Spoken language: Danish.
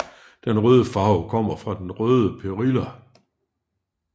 Den røde farve kommer fra den røde perilla